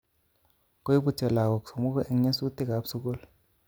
Koibutyo lagok somoku eng nyosutik kap sukul